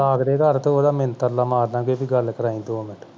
ਲਾਗਲੇ ਘਰ ਤੇ ਓਹਦਾ ਮਿੰਨਤ ਤਰਲਾ ਮਾਰ ਲਵਾਂਗੇ ਕੇ ਗੱਲ ਕਰਵਾਈ ਬਈ ਦੋ minute